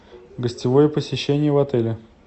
гостевое посещение в отеле